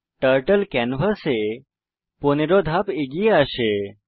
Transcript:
turtle ক্যানভাসে 15 ধাপ এগিয়ে আসে